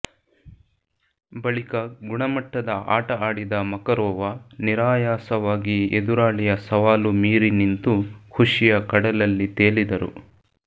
ಬಳಿಕ ಗುಣ ಮಟ್ಟದ ಆಟ ಆಡಿದ ಮಕರೋವಾ ನಿರಾಯಾಸವಾಗಿ ಎದುರಾಳಿಯ ಸವಾಲು ಮೀರಿ ನಿಂತು ಖುಷಿಯ ಕಡಲಲ್ಲಿ ತೇಲಿದರು